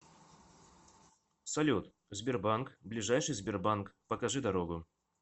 салют сбербанк ближайший сбербанк покажи дорогу